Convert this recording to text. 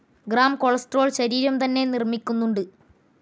Grams cholesterol ശരീരം തന്നെ നിർമ്മിക്കുന്നുമുണ്ട്.